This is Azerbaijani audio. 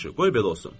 Yaxşı, qoy belə olsun.